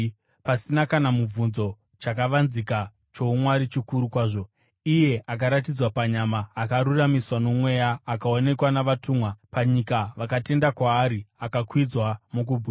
Pasina kana mubvunzo, chakavanzika choumwari chikuru kwazvo: Iye akaratidzwa panyama, akaruramiswa noMweya, akaonekwa navatumwa, akaparidzwa pakati pendudzi panyika vakatenda kwaari, akakwidzwa mukubwinya.